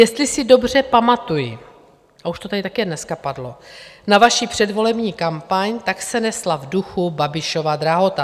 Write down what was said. Jestli si dobře pamatuji - a už to tady také dneska padlo - na vaši předvolební kampaň, tak se nesla v duchu "Babišova drahota".